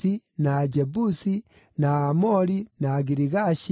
na Ajebusi, na Aamori, na Agirigashi,